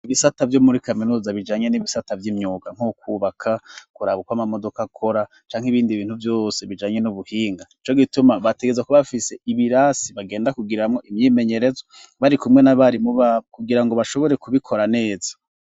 Ibisata vyo muri kaminuza bijanye n'ibisata vy'imyuga nkokubaka, kuraba ukwo amamodoka akora canke ibindi bintu vyose bijanye n'ubuhinga. Nico gituma bategereza kuba bafise ibirasi bagenda kugiramwo imyimenyerezo bari kumwe n'abarimu babo kugira ngo bashobore kubikora neza.